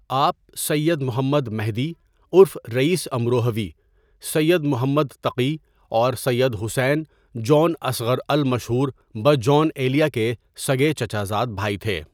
آپ سید محمد مہدی عرف رئیس امروہوی ، سید محمد تقی اور سید حسین جون اصغر المشہور بہ جون ایلیا کے سگے چچا زاد بھائی تھے.